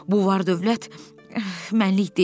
Bu var-dövlət mənlik deyil.